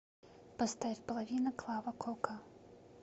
поставь половина клава кока